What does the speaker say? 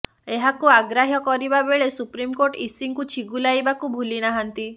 ଏହାକୁ ଅଗ୍ରାହ୍ୟ କରିବା ବେଳେ ସୁପ୍ରିମକୋର୍ଟ ଇସିଙ୍କୁ ଛିଗୁଲାଇବାକୁ ଭୁଲି ନାହାନ୍ତି